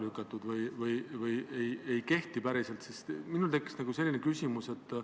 Tulenevalt meie kolleegi Jürgen Ligi ettepanekust proovin teha hästi kiirelt ja kompaktselt.